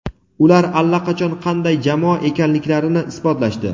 Ular allaqachon qanday jamoa ekanliklarini ibotlashdi.